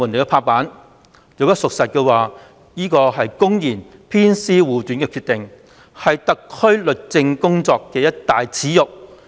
如此說法屬實，便是公然偏私護短的決定，是特區政府律政工作的一大耻辱。